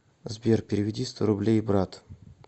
сбер переведи сто рублей брат